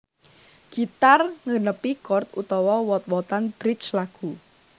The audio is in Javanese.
Gitar nggenepi chord utawa wot wotan bridge lagu